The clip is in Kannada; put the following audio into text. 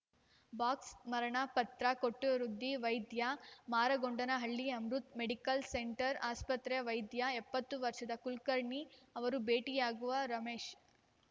ಬಾಕ್ಸ್ ಮರಣ ಪತ್ರ ಕೊಟ್ಟವೃದ್ಧ ವೈದ್ಯ ಮಾರಗೊಂಡನಹಳ್ಳಿಯ ಅಮೃತ್‌ ಮೆಡಿಕಲ್‌ ಸೆಂಟರ್‌ ಆಸ್ಪತ್ರೆಯ ವೈದ್ಯ ಎಪ್ಪತ್ತು ವರ್ಷದ ಕುಲಕರ್ಣಿ ಅವರನ್ನು ಭೇಟಿಯಾಗುವ ರಮೇಶ್‌